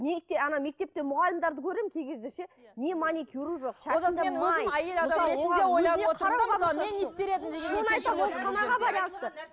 ана мектепте мұғалімдерді көремін кей кезде ше не маникюрі жоқ